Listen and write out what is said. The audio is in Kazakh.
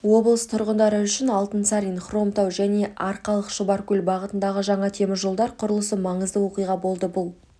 облыс тұрғындары үшін алтынсарин хромтау және арқалық шұбаркөл бағытындағы жаңа теміржолдар құрылысы маңызды оқиға болды бұл